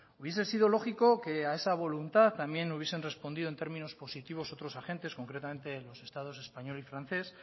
hubiese sido lógico que a esa voluntad también hubiesen respondido en términos positivos otros agentes concretamente los estados español y francés